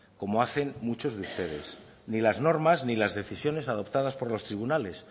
como hacen muchos de ustedes ni las normas ni las decisiones adoptadas por los tribunales